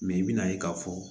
i bɛna ye k'a fɔ